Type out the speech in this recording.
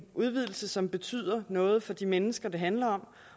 udvidelse som betyder noget for de mennesker det handler om